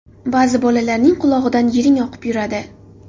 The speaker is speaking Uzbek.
Ba’zi bolalarning qulog‘idan yiring oqib yuradi.